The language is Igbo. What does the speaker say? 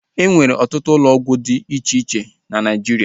E nwere ọtụtụ ụlọ ọgwụ dị iche iche na Naijiria